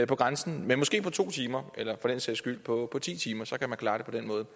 på grænsen men måske på to timer eller for den sags skyld på ti timer så man kan klare det på den måde